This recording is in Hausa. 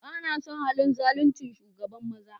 Ba na son halin zaluncin shugaban maza.